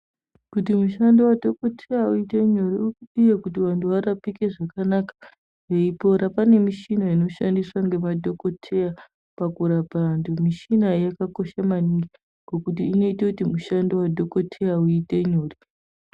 Kuti mushando wadhokoteya uite nyore upiye kuti vanthu varapike zvakanaka veipora pane mishina inoshandiswa ngemadhokoteya pakurapa vanthu. Mishina iyi yakakosha maningi ngukuti inoite kuti mushando wa dhokoteya uite nyore.